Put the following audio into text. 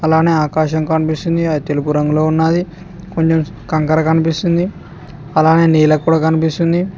అలానే ఆకాశం కనిపిస్తుంది అది తెలుపు రంగులో ఉన్నది కొంచెం కంకర కనిపిస్తుంది అలానే నీళ్లు కూడా కనిపిస్తుంది.